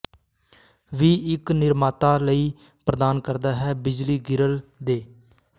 ਵੀ ਇੱਕ ਨਿਰਮਾਤਾ ਲਈ ਪ੍ਰਦਾਨ ਕਰਦਾ ਹੈ ਬਿਜਲੀ ਗਰਿੱਲ ਦੇ